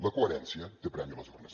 la coherència té premi a les urnes